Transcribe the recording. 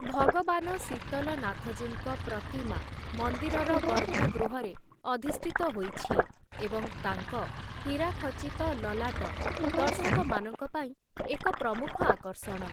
ଭଗବାନ ଶୀତଲନାଥଜୀଙ୍କ ପ୍ରତିମା ମନ୍ଦିରର ଗର୍ଭଗୃହରେ ଅଧିଷ୍ଠିତ ହୋଇଛି, ଏବଂ ତାଙ୍କ ହୀରାଖଚିତ ଲଲାଟ ଦର୍ଶକମାନଙ୍କ ପାଇଁ ଏକ ପ୍ରମୁଖ ଆକର୍ଷଣ ।